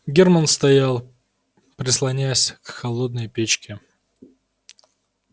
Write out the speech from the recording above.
германн стоял прислонясь к холодной печке